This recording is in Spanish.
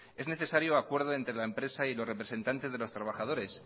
es necesario acuerdo entre la empresa y los representantes de los trabajadores